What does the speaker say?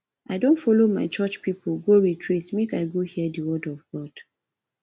i don folo my church pipo go retreat make i go hear di word of god